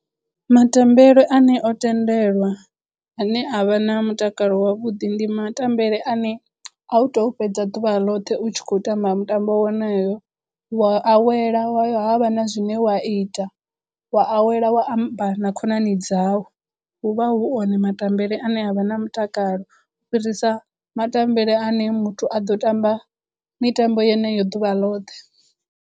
Matambele ane o tendelwa ane avha na mutakalo wavhuḓi ndi matambele ane a u to fhedza ḓuvha ḽoṱhe u tshi khou tamba mutambo wonoyo, u wa awela wayo havha na zwine wa a ita, wa awela wa amba na khonani dzau hu vha hu one matambele ane avha na mutakalo u fhirisa matambele ane muthu a ḓo tamba mitambo yeneyo ḓuvha ḽoṱhe.